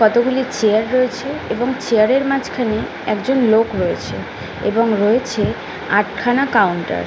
কতগুলি চেয়ার রয়েছে এবং চেয়ার -এর মাঝখানে একজন লোক রয়েছে এবং রয়েছে আটখানা কাউন্টার ।